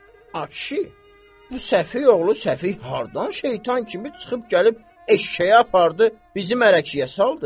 Ay kişi, bu səfi oğlu səfi hardan şeytan kimi çıxıb gəlib eşşəyi apardı bizim mələkiyə saldı.